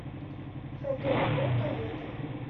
фгку комета